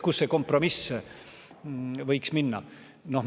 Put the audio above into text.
Kus see kompromiss võiks olla?